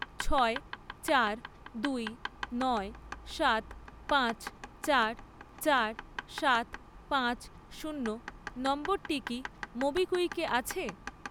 ছয় , চার , দুই , নয় , সাত , পাঁচ , সাত , চার , সাত , পাঁচ, শূন্য নম্বরটি কি মোবিকুইকে আছে?